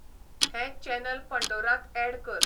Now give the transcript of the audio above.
हें चॅनल पंडोरांत ऍड कर